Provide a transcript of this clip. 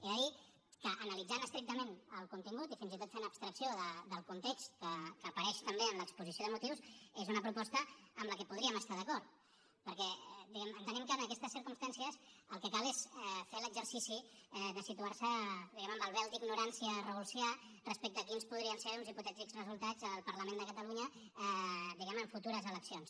he de dir que analitzant estrictament el contingut i fins i tot fent abstracció del context que apareix també en l’exposició de motius és una proposta amb la que podríem estar d’acord perquè diguem ne entenem que en aquestes circumstàncies el que cal és fer l’exercici de situar se diguem ne amb el vel d’ignorància rawlsià respecte a quins podrien ser uns hipotètics resultats al parlament de catalunya diguem ne en futures eleccions